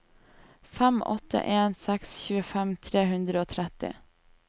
fem åtte en seks tjuefem tre hundre og tretti